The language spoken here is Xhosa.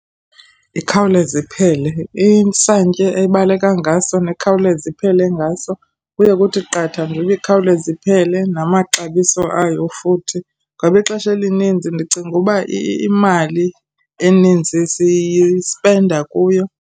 Ikhawuleze iphele, isantya ebaleka ngaso nekhawuleza iphele ngaso. Kuye kuthi qatha njengoba ikhawuleze iphele, namaxabiso ayo futhi. Ngoba ixesha elinintsi ndicinga uba imali enintsi siyispenda kuyo.